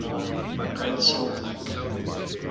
great salt lake